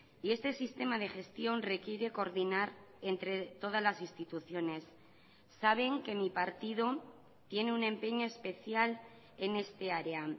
y este sistema de gestión requiere coordinar entre todas las instituciones saben que mi partido tiene un empeño especial en esta área